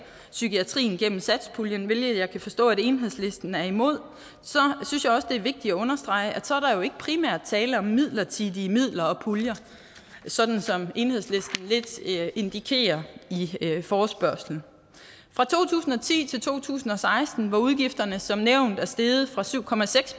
psykiatrien gennem satspuljen hvilket jeg kan forstå at enhedslisten er imod så synes jeg jo også det er vigtigt at understrege at der ikke primært er tale om midlertidige midler og puljer sådan som enhedslisten lidt indikerer i forespørgslen fra to tusind og ti til to tusind og seksten hvor udgifterne som nævnt er steget fra syv